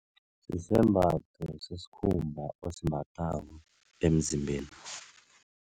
Sisembatho sesikhumba osimbathako emzimbeni.